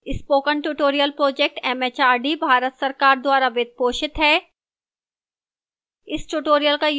spoken tutorial project mhrd Bharat सरकार द्वारा वित्त पोषित है